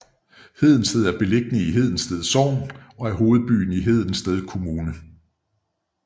Hedensted er beliggende i Hedensted Sogn og er hovedbyen i Hedensted Kommune